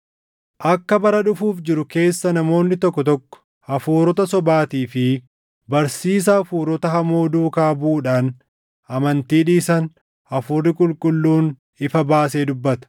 Akka bara dhufuuf jiru keessa namoonni tokko tokko hafuurota sobaatii fi barsiisa hafuurota hamoo duukaa buʼuudhaan amantii dhiisan Hafuurri Qulqulluun ifa baasee dubbata.